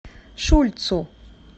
шульцу